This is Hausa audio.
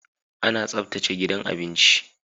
Ana tsaftace gidan abinci